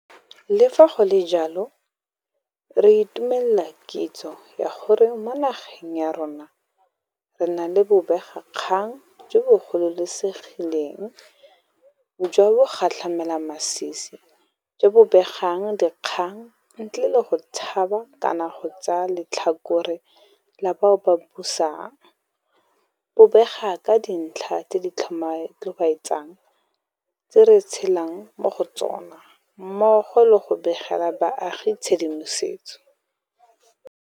Le fa go le jalo, re itumelela kitso ya gore mo nageng ya rona re na le bobegakgang jo bo gololesegileng jwa bogatlhamelamasisi jo bo begang dikgang ntle le go tshaba kana go tsaya letlhakore la bao ba busang, bo bega ka dintlha tse di tlhobaetsang tse re tshelang mo go tsona, mmogo le go begela baagi tshedimosetso